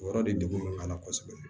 O yɔrɔ de la kosɛbɛ